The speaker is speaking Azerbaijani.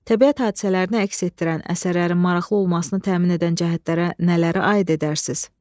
Təbiət hadisələrini əks etdirən əsərlərin maraqlı olmasını təmin edən cəhətlərə nələri aid edərsiniz?